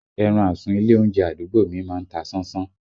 Ẹran àsun ilé oúnjẹ àdúgbò mi má ń ta sánsán